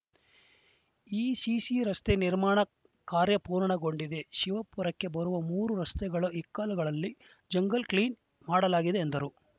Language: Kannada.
ಈ ಸಿಸಿ ರಸ್ತೆ ನಿರ್ಮಾಣ ಕಾರ್ಯ ಪೂರ್ಣಗೊಂಡಿದೆ ಶಿವಪುರಕ್ಕೆ ಬರುವ ಮೂರು ರಸ್ತೆಗಳ ಇಕ್ಕೆಲಗಳಲ್ಲಿ ಜಂಗಲ್‌ ಕ್ಲೀನ್‌ ಮಾಡಲಾಗಿದೆ ಎಂದರು